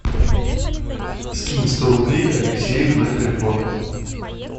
скинь сто рублей алексею на телефон